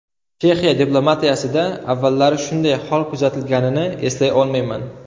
Chexiya diplomatiyasida avvallari shunday hol kuzatilganini eslay olmayman.